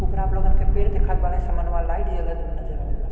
उपरा आपलोगन के पेड़ देखात बाड़े समनवा लाइट जलत नजर आवत बाड़े --